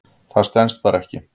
Það stenst bara ekki.